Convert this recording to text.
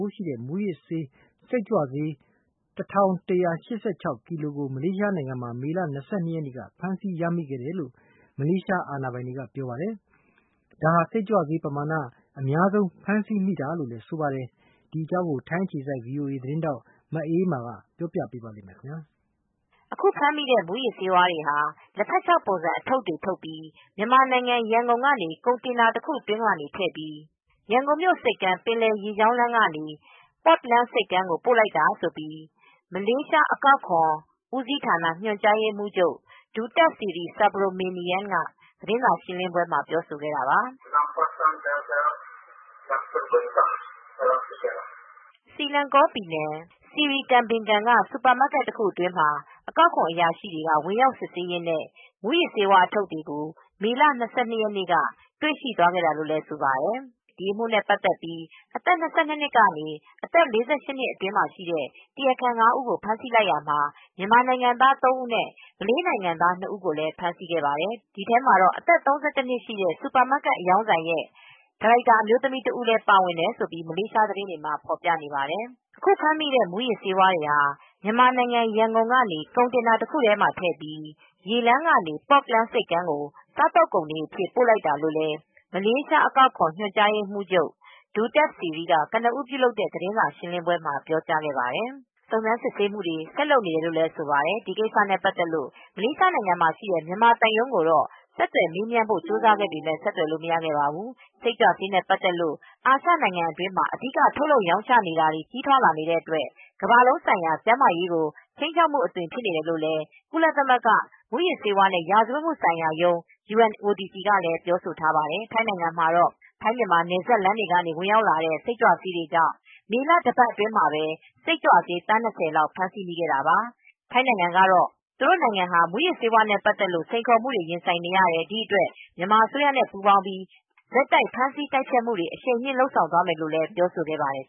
ိုးရှိတဲ့ မူးယစ်စိတ်ကြွဆေး ၁၁၈၇ ကီလိုကို မလေးရှားနိုင်ငံမှာ အများဆုံးဖမ်းမိခဲ့တယ်လို့ မလေးအာဏာပိုင်တွေက ပြောပါတယ်။ ဒါဟာ စိတ်ကြွဆေးပမာဏ အများဆုံးဖမ်းဆီးတာဖြစ်တယ်လို့လည်းဆိုပါတယ်။ ထိုင်းအခြေစိုက်သတင်းထောက် မအေးအေးမာက သတင်းပေးပို့ ထားပါတယ်။ အခုဖမ်းမိတဲ့ မူးယစ်ဆေးတွေဟာ လက်ဖက်ခြောက်ပုံစံအထုတ်တွေလုပ်ပြီး မြန်မာနိုင်ငံ ရန်ကုန်ကနေ ကွန်တိန်နာတခုအတွင်းမှာ ထည့်ပြီး ရန်ကုန်မြို ဆိပ်ကမ်းကနေ ပင်လယ်ရေကြောင်းကတဆင့် Port Klang ဆိပ်ကမ်းကို ပို့လိုက်တာလို့မလေးရှားအကောက်ခွန်ညွန်ကြားရေးမှူးချုပ် Datuk Seri T Subromaniam ဒူတပ်စီရီ ကသတင်းစာရှင်းလင်းပွဲပြောဆိုခဲ့တာပါ။ စီလန်ကော ပြည်နယ် Seri Kembangan စီရီကမ်ဘင်ဂန် က စူပါမားကက် တခုအတွင်းမှာ အကောက်အခွန် အရာရှိတွေက ဝင်ရောက် စစ်ဆေးရင်း မူးယစ်ဆေးဝါး အထုတ်တွေကို မေလ၂၂ရက်နေ့က တွေ့ရှိသွားခဲ့တာလို့လည်းဆိုပါတယ်။ ဒီအမှုနဲ့ပတ်သက်ပြီးအသက် ၂၂ ကနေအသက် ၄၈ နှစ်အတွင်းရှိတရားခံ ငါးဦးကို ဖမ်းဆီးလိုက်ခဲ့ရာ မြန်မာနိုင်ငံသား သုံးဦးနဲ့ မလေးနိုင်ငံသားနှစ်ဦးကို ဖမ်းဆီခဲ့တာပါ။ ဒီထဲမှာတော့ အသက် ၃၁ နှစ်ရှိ စူပါမားကက် အရောင်းဆိုင်ရဲ့ ဒါရိုက်တာ အမျိုးသမီးတဦး ပါဝင်တယ် လို့မလေးရှားသတင်းတွေမှာဖေါ်ပြနေပါတယ်။ အခုဖမ်းမိတဲ့ မူးယစ်ဆေးတွေဟာ မြန်မာနိုင်ငံ ရန်ကုန်ကနေကွန်တိန်နာ တခုအတွင်းမှာ ထည့်ပြီး ရေလမ်းကနေ Port Klang ဆိပ်ကမ်းကို စားသောက်ကုန်တွေအဖြစ် ပို့လိုက်တာလို့မလေးအကောက်ခွန်ညွန်ကြားရေးမှူးချုပ် Datuk Seri T Subromaniam ဒူတပ်စီရီ က ကနဦးပြုလုပ်တဲ့ သတင်းစာရှင်းလင်းပွဲပြောကြားခဲ့ပါတယ်။ ဒါပေမဲ့စစ်ဆေးစုံစမ်းမူတွေဆက်လုပ်နေတယ်လို့လည်းဆိုပါတယ် ။ ဒါပေမဲစစ်ဆေးစုံစမ်းမူတွေဆက်လုပ်နေတယ်လို့လည်းဆိုပါတယ်။ ဒီကိစ္စနဲ့ ပတ်သက်လို့ မလေးရှားနိုင်ငံမှာရှိတဲ့ မြန်မာသံရုံးကိုတော့ ဆက်သွယ်မေးမြန်းဖို့ကြိုးစားခဲ့ပေမယ့် ဆက်သွယ်လို့မရခဲ့ပါဘူး။ စိတ်ကြွဆေးနေနဲ့ ပတ်သက်လို့ အာရှနိုင်ငံအတွင်းမှာ အဓိက ထုတ်လုပ်ရောင်းချနေတာတွေကြီးထွားလာနေတဲ့အတွက် ကမ္ဘာလုံးဆိုင်ရာ ကျန်းမာရေးကိုခြိမ်းခြောက်မူအသွင်ဖြစ်နေတယ်လိုလည်းကုလသမဂ္ဂမူးယစ်ဆေးဝါးနဲ့ ရာဇဝတ်မူဆိုင်ရာရုံး UNODC ကလည်းပြောဆိုထားပါတယ်။ ထိုင်းနိုင်ငံမှာတော ထိုင်း-မြန်မာနယ်စပ်လမ်းတွေကနေ ဝင်ရောက်လာနေတဲ့ စိတ်ကြွဆေးတွေကြောင့့် မေလ တပတ်အတွင်းမှာပဲ စိတ်ကြွဆေး သန်း ၂၀လောက်ဖမ်းဆီးခဲ့တာပါ ထိုင်းသူတို့နိုင်ငံဟာမူယစ်ဆေးဝါးနဲပတ်သက်လို့စိန်ခေါ်မူတွေရင်ဆိုင်နေရတယ် ဒီအတွက် မြန်မာအစိုးရနဲပူးပေါင်းပြီး ဆက်တိုက်ဖမ်းဆီးတိုက်ဖျက်မူတွေအရှိန်မြှင့်လုပ်ဆောင်သွားမယ်လို့ပြောဆိုခဲ့ပါတယ်